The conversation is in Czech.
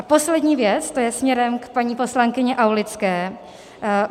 A poslední věc, to je směrem k paní poslankyni Aulické.